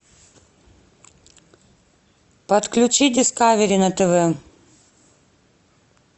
подключи дискавери на тв